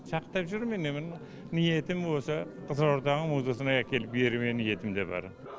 сақтап жүрмін енді ниетім осы қызылорданың музасына әкеліп беру де ниетімде бар